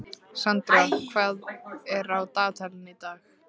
Sandra, hvað er á dagatalinu í dag?